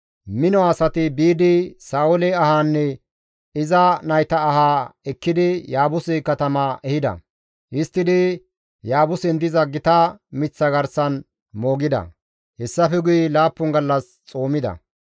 mino asati biidi Sa7oole ahaanne iza nayta ahaa ekkidi Yaabuse katama ehida; histtidi Yaabusen diza gita miththa garsan moogida; hessafe guye 7 gallas xoomida.